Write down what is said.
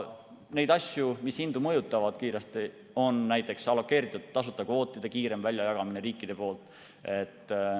Neid asju, mis hindu kiiresti mõjutavad, on veel, näiteks allokeeritud tasuta kvootide kiirem väljajagamine riikide poolt.